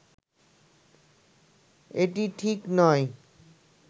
এটি ঠিক নয়